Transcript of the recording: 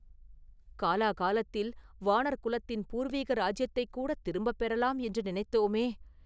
காலாகாலத்தில் வாணர் குலத்தின் பூர்வீக ராஜ்யத்தைக்கூடத் திரும்பப் பெறலாம் என்று நினைத்தோமே?